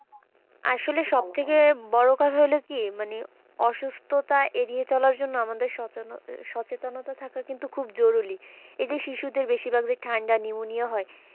আসলে সব থেকে বড় কার হল কি মানে অসুস্থতা এড়িয়ে চলার জন্য আমাদের সচেতনতা থাকা কিন্তু আমাদের খুব জরুরি এই যে শিশুদের বেশিরভাগ যে ঠাণ্ডা pneumonia হয়,